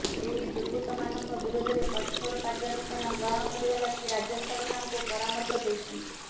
ଏହି ଦୁର୍ବୃତ୍ତମାନଙ୍କ ବିରୋଧରେ କଠୋର କାର୍ଯ୍ୟାନୁଷ୍ଠାନ ଗ୍ରହଣ କରିବା ଲାଗି ରାଜ୍ୟ ସରକାରଙ୍କୁ ପରାମର୍ଶ ଦେଇଛନ୍ତି